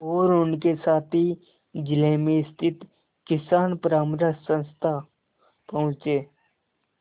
और उनके साथी जिले में स्थित किसान परामर्श संस्था पहुँचे